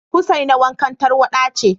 husaina wankan tarwada ce